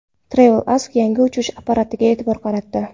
TravelAsk yangi uchish apparatiga e’tibor qaratdi .